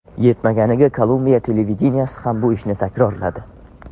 Yetmaganiga, Kolumbiya televideniyesi ham bu ishni takrorladi.